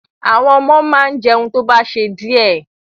Àwọn ọmọ máa jẹun tó bá ṣe díẹ̀.